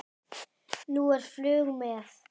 Nú er flug með